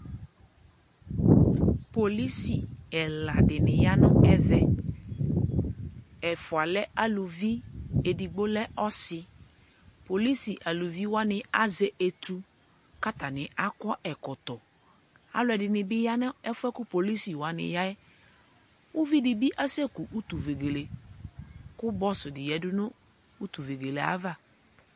Polisi ɛla dɩnɩ ya nʋ ɛvɛ : ɛfʋa lɛ uluvi edigbo lɛ ɔsɩ; polisi eluvi wanɩ azɛ etu, k'atanɩ akɔ ɛkɔtɔ Alʋɛdɩnɩ bɩ ya n'ɛfʋɛ kʋ polisi wanɩ yaɛ Uvidi bɩ aseku utuvegele, kʋ bɔs dɩ yǝdu nʋ utuvegelee ava